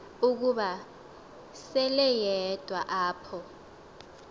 ukuba seleyedwa apho